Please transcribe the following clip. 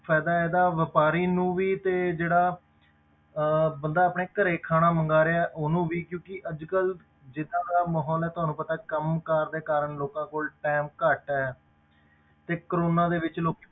ਫ਼ਾਇਦਾ ਇਹਦਾ ਵਾਪਾਰੀ ਨੂੰ ਵੀ ਤੇ ਜਿਹੜਾ ਅਹ ਬੰਦਾ ਆਪਣੇ ਘਰੇ ਖਾਣਾ ਮੰਗਵਾ ਰਿਹਾ ਉਹਨੂੰ ਵੀ ਕਿਉਂਕਿ ਅੱਜ ਕੱਲ੍ਹ ਜਿੱਦਾਂ ਦਾ ਮਾਹੌਲ, ਹੈ ਤੁਹਾਨੂੰ ਪਤਾ ਕੰਮ ਕਾਰ ਦੇ ਕਾਰਨ ਲੋਕਾਂ ਕੋਲ time ਘੱਟ ਹੈ ਤੇ ਕੋਰੋਨਾ ਦੇ ਵਿੱਚ ਲੋਕ